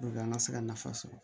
an ka se ka nafa sɔrɔ